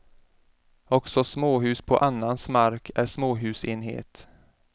Också småhus på annans mark är småhusenhet.